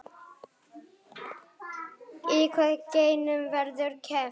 Í hvaða greinum verður keppt?